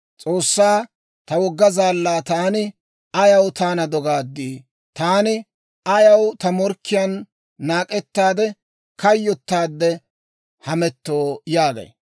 S'oossaa, ta wogga zaallaa taani, «Ayaw taana dogaadii? Taani ayaw ta morkkiyaan naak'ettaade kayyotaade hamettoo?» yaagay.